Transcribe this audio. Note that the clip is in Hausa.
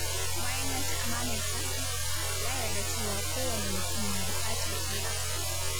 Bayan ya ci amanarta, ya yarda cewa kowane mutum na buƙatar iyaka.